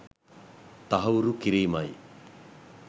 තහවුරු කිරීමයි.